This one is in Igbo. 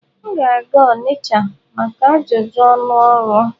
M ga-aga Onitcha maka ajụjụ ọnụ ọrụ.